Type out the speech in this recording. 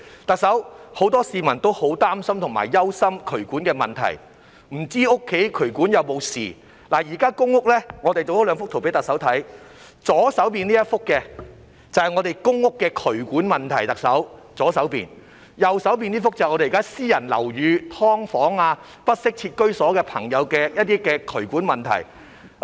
特首，很多市民都很擔心和憂心渠管的問題，不知道家中渠管有沒有事，我們製作了兩幅圖片讓特首看，左邊這幅是公屋的渠管問題，右邊這幅是現時在私人樓宇、"劏房"、不適切居所的渠管問題。